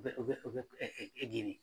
Bɛ u bɛ u bɛ ɛgiri